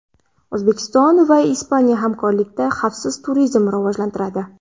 O‘zbekiston va Ispaniya hamkorlikda xavfsiz turizmni rivojlantiradi.